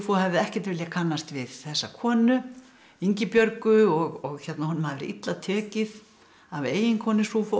hefði ekkert viljað kannast við þessa konu Ingibjörgu og honum hafi verið illa tekið af eiginkonu